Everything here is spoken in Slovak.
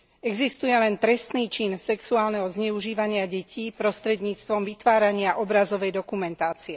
Existuje len trestný čin sexuálneho zneužívania detí prostredníctvom vytvárania obrazovej dokumentácie.